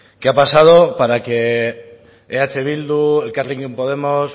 qué ha pasado para que eh bildu elkarrekin podemos